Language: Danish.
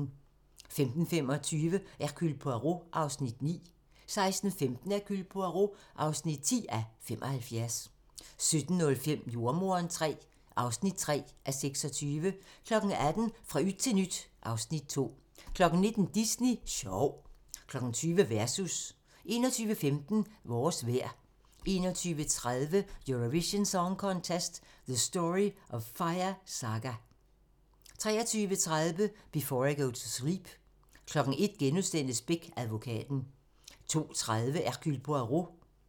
15:25: Hercule Poirot (9:75) 16:15: Hercule Poirot (10:75) 17:05: Jordemoderen III (3:26) 18:00: Fra yt til nyt (Afs. 2) 19:00: Disney Sjov 20:00: Versus 21:15: Vores vejr 21:30: Eurovision Song Contest: The Story of Fire Saga 23:30: Before I Go to Sleep 01:00: Beck: Advokaten *